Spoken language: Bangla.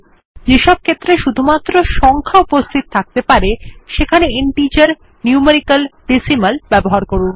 যেসব ক্ষেত্রে শুধুমাত্র সংখ্যা উপস্থিত থাকতে পারে সেখানে ইন্টিজার নিউমেরিক্যাল ডেসিমাল ব্যবহার করুন